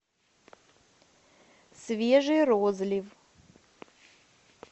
свежий розлив